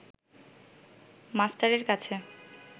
মাস্টারের কাছে